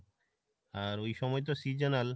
আর ওই সময় তো seasonal,